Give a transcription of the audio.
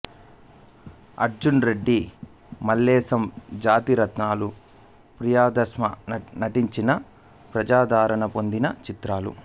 అర్జున్ రెడ్డి మల్లేశం జాతిరత్నాలు ప్రియదర్శి నటించిన ప్రజాదరణ పొందిన చిత్రాలు